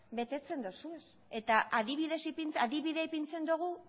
betetzen dituzue eta adibidea ipintzen dugu